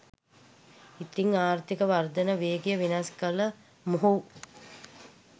ඉතින් ආර්ථීක වර්ධන වේගය වෙනස් කළ මොහු